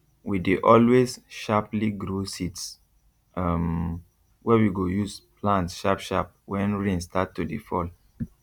we dey always sharply grow seeds um wey we go use plant sharp sharp when rain start to dey fall